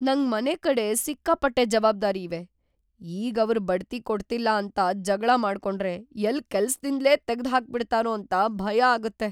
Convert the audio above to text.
ನಂಗ್‌ ಮನೆಕಡೆ ಸಿಕ್ಕಾಪಟ್ಟೆ ಜವಾಬ್ದಾರಿ ಇವೆ, ಈಗ್‌ ಇವ್ರ್‌ ಬಡ್ತಿ ಕೊಡ್ಲಿಲ್ಲ ಅಂತ ಜಗ್ಳ ಮಾಡ್ಕೊಂಡ್ರೆ ಎಲ್ಲ್‌ ಕೆಲ್ಸ್‌ದಿಂದ್ಲೇ ತೆಗ್ದ್‌ಹಾಕ್ಬಿಡ್ತಾರೋ ಅಂತ ಭಯ ಆಗತ್ತೆ.